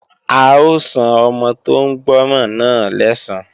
A ó san ọmọ tó ń gbọ́ràn náà lẹ́san